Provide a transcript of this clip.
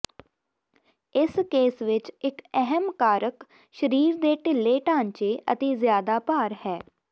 ਇਸ ਕੇਸ ਵਿਚ ਇਕ ਅਹਿਮ ਕਾਰਕ ਸਰੀਰ ਦੇ ਢਿੱਲੇ ਢਾਂਚੇ ਅਤੇ ਜ਼ਿਆਦਾ ਭਾਰ ਹੈ